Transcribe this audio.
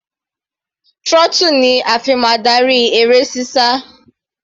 Throttle ni a fi máa darí eré sísá.